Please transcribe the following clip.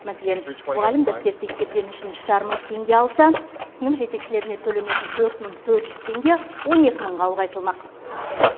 мәселен мұғалім дәптер тексергені үшін үш жарым мың теңге алса сынып жетекшілеріне төленетін төрт мың төрт жүз теңге он екі мыңға ұлғайтылмақ